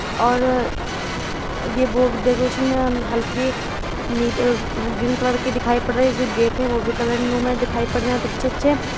और ये वो डेकुराशन है और हल्की नीली ग्रीन कलर कि दिखाई पड़ रही है। इसके गेट है वो भी कलर नुमा दिखाई पड रही है अच्छे-अच्छे।